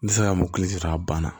N tɛ se ka mobili ta a banna